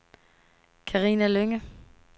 Carina Lynge